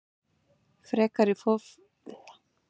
Frekari fróðleikur á Vísindavefnum: Hvað er laxsíld?